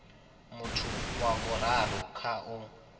muthu wa vhuraru kha u